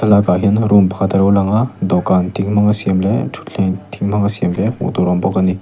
lakah hian room pakhat alo langa dawhkan thing hmang a siam leh thutthleng thing hmanga siam te hmuh tur a awm bawk ani.